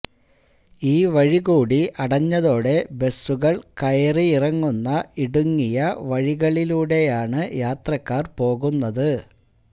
ഈ വഴികൂടി അടഞ്ഞതോടെ ബസുകള് കയറിയിറങ്ങുന്ന ഇടുങ്ങിയ വഴിയിലൂടെയാണ് യാത്രക്കാര് പോകുന്നത്